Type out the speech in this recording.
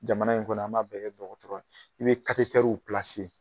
Jamana in kɔnɔ an b'a bɛɛ kɛ dɔgɔtɔrɔya i be w